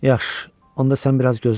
Yaxşı, onda sən biraz gözlə.